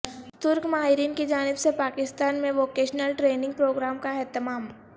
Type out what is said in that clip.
ترک ماہرین کی جانب سے پاکستان میں ووکیشنل ٹریننگ پروگرام کا اہتمام